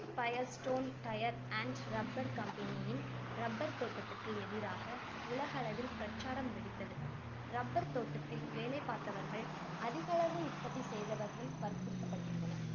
firestone tyres and rubber company யின் rubber தோட்டத்துக்கு எதிராக உலகளவில் பிரச்சாரம் வெடித்தது rubber தோட்டத்தில் வேலை பார்த்தவர்கள், அதிகளவு உற்பத்தி செய்தவர்கள் வற்புறுத்தப்படுகின்றனர்.